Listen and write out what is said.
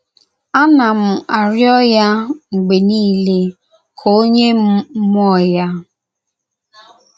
Anam - arịọ ya mgbe niile ka o nye m mmụọ ya.